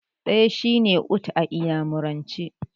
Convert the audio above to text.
Ɗaya shine 'Otu' a iyamuranci.